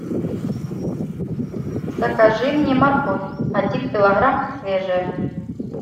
закажи мне морковь один килограмм свежая